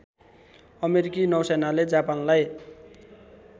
अमेरिकी नौसेनाले जापानलाई